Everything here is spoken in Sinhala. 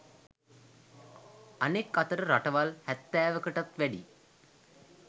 අනෙක් අතට රටවල් හැත්තෑවකටත් වැඩිය